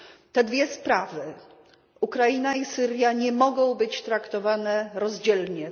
Te dwie sprawy, Ukraina i Syria, nie mogą być traktowane rozdzielnie.